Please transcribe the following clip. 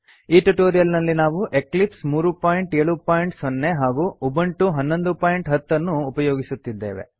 ಈ ಟ್ಯುಟೋರಿಯಲ್ ನಲ್ಲಿ ನಾವು ಎಕ್ಲಿಪ್ಸ್ 370 ಹಾಗೂ ಉಬುಂಟು 1110 ಅನ್ನು ಉಪಯೋಗಿಸುತ್ತಿದ್ದೇವೆ